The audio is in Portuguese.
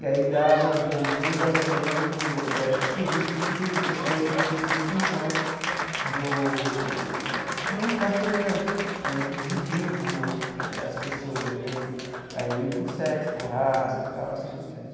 E aí dava, digamos, um embasamento eh político do porquê que essas coisas aconteciam em função do de uma classe dominante né que divide né as pessoas né aí por sexo, por raça tal e assim por diante.